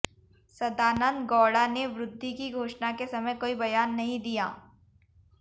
सदानंद गौडा ने वृद्धि की घोषणा के समय कोई बयान नहीं दिया